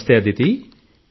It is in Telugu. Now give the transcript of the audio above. నమస్తే అదితి